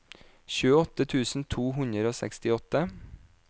tjueåtte tusen to hundre og sekstiåtte